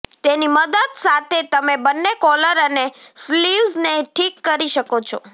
તેની મદદ સાથે તમે બંને કોલર અને સ્લીવ્ઝને ઠીક કરી શકો છો